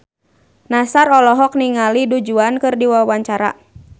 Nassar olohok ningali Du Juan keur diwawancara